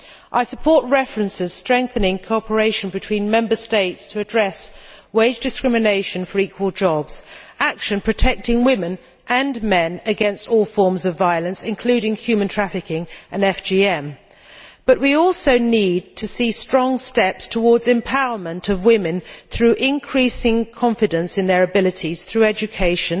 I support references strengthening cooperation between Member States in addressing wage discrimination for equal jobs and action protecting women and men against all forms of violence, including human trafficking and female genital mutilation, but we also need to see strong steps towards empowerment of women through increasing confidence in their abilities, through education